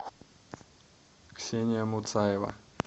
ксения муцаева